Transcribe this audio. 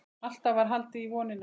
Alltaf var haldið í vonina.